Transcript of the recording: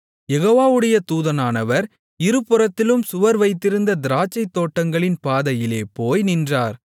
யெகோவாவுடைய தூதனானவர் இருபுறத்திலும் சுவர் வைத்திருந்த திராட்சைத் தோட்டங்களின் பாதையிலே போய் நின்றார்